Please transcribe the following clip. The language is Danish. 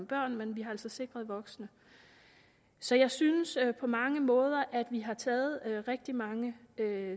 børnene men vi har altså sikret voksne så jeg synes at vi på mange måder har taget rigtig mange